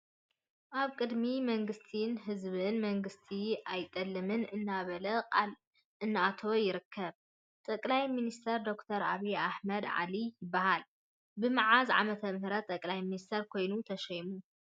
ኣብ ቅድሚ መንግስቲ ንህዝበይን መንግስተይ ኣይጠልም እናበላ ቃል እናአተወ ይርከብ ። ጠቅላይ ሚንስተር ደ/ር ኣብይ ኣሕመድ ዓሊ ይባሃል ። ብመዓዝ ዐመተ ምህረት ጠቅላይ ሚንሲተር ኮይኑ ተሸይሙ?